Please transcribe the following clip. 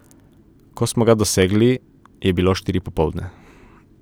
Ko smo ga dosegli, je bilo štiri popoldne.